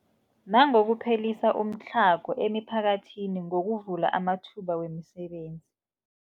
Nangokuphelisa umtlhago emiphakathini ngokuvula amathuba wemisebenzi.